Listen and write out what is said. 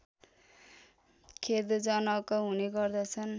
खेदजनक हुने गर्दछन्